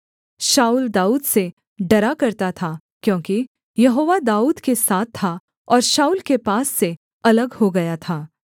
शाऊल दाऊद से डरा करता था क्योंकि यहोवा दाऊद के साथ था और शाऊल के पास से अलग हो गया था